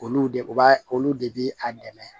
Olu de u b'a olu de bi a dɛmɛ